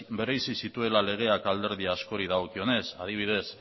bereizi zituela legeak alderdi askori dagokionez adibidez